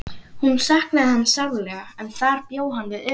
Hún saknaði hans sárlega en þar bjó hann við öryggi.